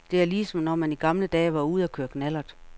Det er ligesom når man i gamle dage var ude at køre knallert.